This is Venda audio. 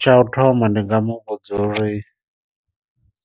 Tsha u thoma ndi nga mu vhudza uri